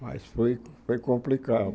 Mas foi foi complicado.